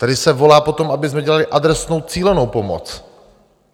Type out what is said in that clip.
Tady se volá po tom, abychom dělali adresnou, cílenou pomoc.